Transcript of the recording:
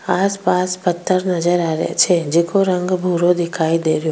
आस पास पत्थर नजर आ रेहो छे जेको रंग भूरो दिखाई दे रेहो --